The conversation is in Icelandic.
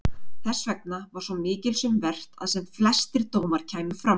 Þessvegna var svo mikils um vert að sem flestir dómar kæmu fram.